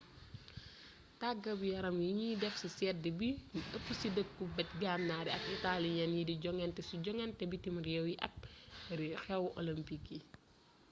tàggat yaram yiñuy déf ci sédd bi ño ëpp ci dëkku bët gannar yi ak italians yi di jonganté ci jonganté bitim réew yi ak xéw olympic yi